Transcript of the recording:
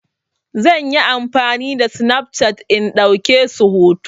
Zan yi amfani da Snapchat in ɗauke su hoto.